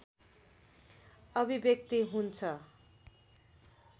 अभिव्यक्ति हुन्छ